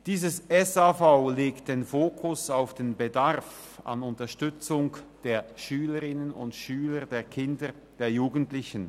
Das SAV legt den Fokus auf den Bedarf an Unterstützung der Schülerinnen und Schüler, der Kinder, der Jugendlichen.